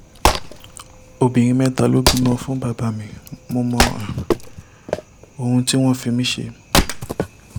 obìnrin mẹ́ta ló bímọ fún bàbá mi mo mọ um ohun tí wọ́n fi mí ṣe um